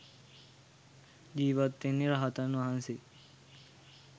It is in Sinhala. ජීවත් වෙන්නෙ රහතන් වහන්සේ